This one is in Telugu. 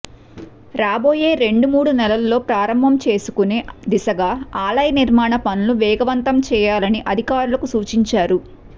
రాబోయే రెండు మూడు నెలల్లో ప్రారంభం చేసుకునే దిశగా ఆలయ నిర్మాణ పనులను వేగవంతం చేయాలని అధికారులకు సూచించారు